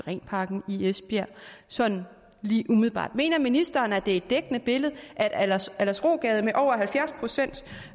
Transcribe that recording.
syrenparken i esbjerg sådan lige umiddelbart mener ministeren at det er et dækkende billede at aldersrogade med over halvfjerds procent